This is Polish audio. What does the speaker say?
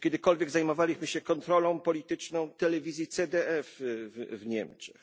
Czy kiedykolwiek zajmowaliśmy się kontrolą polityczną telewizji CDF w Niemczech?